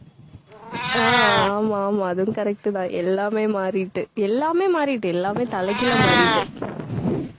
அஹ் ஆமா, ஆமா, அதுவும் correct தான் எல்லாமே மாறிட்டு எல்லாமே மாறிட்டு எல்லாமே தலைகீழா மாறிட்டு